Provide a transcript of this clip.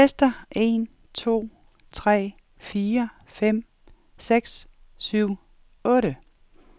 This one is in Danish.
Tester en to tre fire fem seks syv otte.